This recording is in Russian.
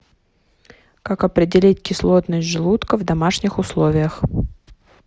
как определить кислотность желудка в домашних условиях